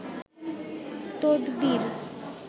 তদবীর